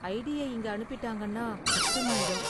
ஐடியை இங்கே அனுப்பிட்டாங்கன்னா கஷ்டமாயிடும்.